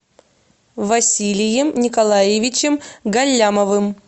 василием николаевичем галлямовым